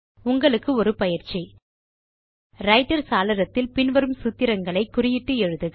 உங்களுக்கு ஒரு பயிற்சி ரைட்டர் சாளரத்தில் பின் வரும் சூத்திரங்களை குறியிட்டு எழுக